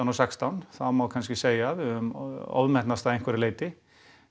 og sextán þá má kannski segja að við höfum ofmetnast að einhverju leyti